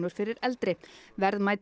fyrir eldri verðmæti